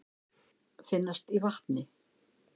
Finnast í vatni.